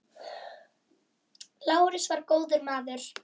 Lárus var góður maður.